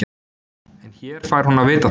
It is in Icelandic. En hér fær hún að vita það.